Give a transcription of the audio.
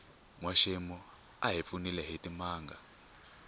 nwaxemu a hi pfunile hitimanga